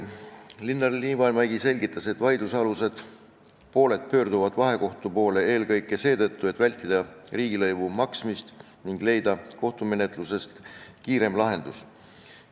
Linnar Liivamägi selgitas, et pooled pöörduvad vahekohtu poole eelkõige seetõttu, et vältida riigilõivu maksmist ning leida kohtumenetlusest kiirem lahendus.